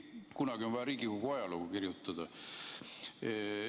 Kunagi on vaja Riigikogu ajalugu kirjutada.